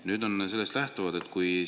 Nüüd ma küsin sellest lähtuvalt nii.